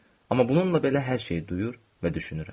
Amma bununla belə hər şeyi duyur və düşünürəm.